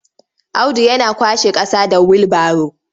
Audu yana kwashe ƙasa da wilbaro.